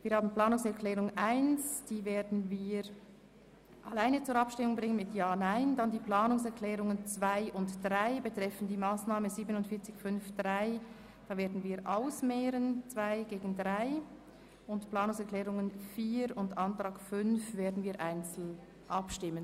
Wir werden die Planungserklärung 1 separat zur Abstimmung bringen, die Planungserklärungen 2 und 3 betreffend die Massnahme 47.5.3 einander gegenüberstellen und über die Planungserklärung 4 sowie den Abänderungsantrag 5 separat abstimmen.